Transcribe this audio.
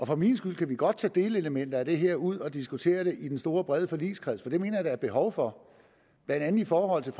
for min skyld kan vi godt tage delelementer af det her ud og diskutere det i den store brede forligskreds for det mener jeg at der er behov for blandt andet i forhold til